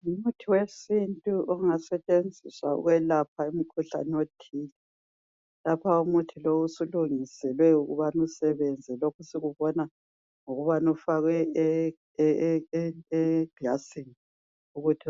ngumuthi wesintu ongasetshenziswa ukwelapha umkhuhlane othile lapha umuthi lowu usulungiselwe ukubana usebenze lokhu sikubona ngokubana ufakwe eglasini ukuthi